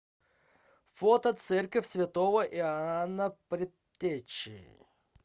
фото церковь святого иоанна предтечи